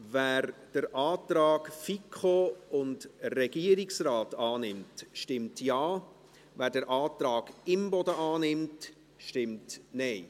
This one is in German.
Wer den Antrag FiKo und Regierungsrat annimmt, stimmt Ja, wer den Antrag Imboden annimmt, stimmt Nein.